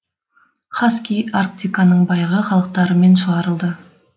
хаски арктиканың байырғы халықтарымен шығарылды